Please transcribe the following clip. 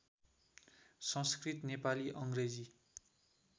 संस्कृत Nepali अङ्ग्रेजी